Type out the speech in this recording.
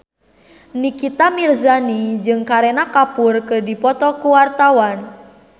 Nikita Mirzani jeung Kareena Kapoor keur dipoto ku wartawan